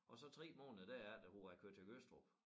Og så 3 måneder derefter hvor jeg kørte til Gødstrup